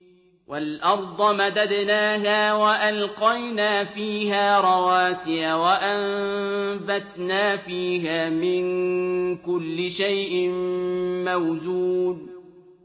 وَالْأَرْضَ مَدَدْنَاهَا وَأَلْقَيْنَا فِيهَا رَوَاسِيَ وَأَنبَتْنَا فِيهَا مِن كُلِّ شَيْءٍ مَّوْزُونٍ